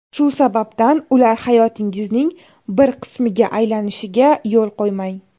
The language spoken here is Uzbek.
Shu sababdan ular hayotingizning bir qismiga aylanishiga yo‘l qo‘ymang.